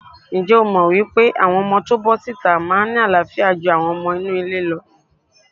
Ǹjẹ́ o mọ̀ pé àwọn ọmọ tó bọ́ síta máa ń ní àááfíà ju àwọn ọmọ inú ilé lọ?